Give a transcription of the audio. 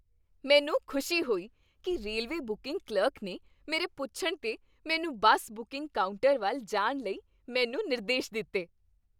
ਮੈਨੂੰ ਖੁਸ਼ੀ ਹੋਈ ਕਿ ਰੇਲਵੇ ਬੁਕਿੰਗ ਕਲਰਕ ਨੇ ਮੇਰੇ ਪੁੱਛਣ 'ਤੇ ਮੈਨੂੰ ਬੱਸ ਬੁਕਿੰਗ ਕਾਊਂਟਰ ਵੱਲ ਜਾਣ ਲਈ ਮੈਨੂੰ ਨਿਰਦੇਸ਼ ਦਿੱਤੇ।